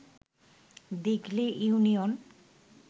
Dighali union